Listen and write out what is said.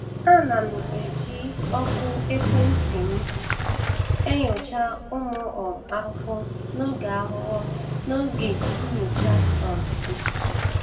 Ana m eji ọkụ ekwentị m enyocha ụmụ um ahụhụ n'oge ahụhụ n'oge nyocha um ụtụtụ.